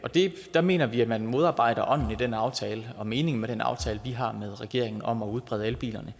der mener vi at man modarbejder ånden i den aftale og meningen med den aftale vi har med regeringen om at udbrede elbilerne